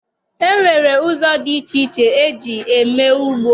E nwere ụzọ dị iche iche e ji eme ugbo.